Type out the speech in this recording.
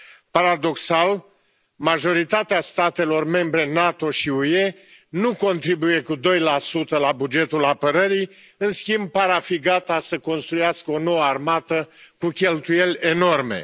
Paradoxal, majoritatea statelor membre NATO și UE nu contribuie cu doi la sută la bugetul apărării, în schimb par a fi gata să construiască o nouă armată cu cheltuieli enorme.